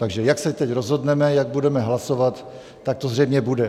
Takže jak se teď rozhodneme, jak budeme hlasovat, tak to zřejmě bude.